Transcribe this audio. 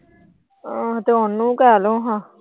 ਤੇ ਉਹਨੂੰ ਕਹਿ ਲੋ ਹਾਂ।